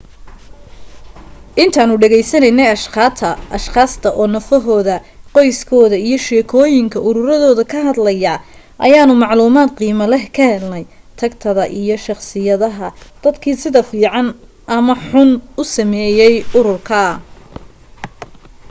intaanu dhegaysanaynay ashqaasta oo nafahooda qoyskooda iyo sheekooyinka ururadooda ka hadlaya ayaanu macluumaad qiimo leh ka helnay tagtada iyo shaqsiyadaha dadkii sida fiican ama xun u saameeyay ururka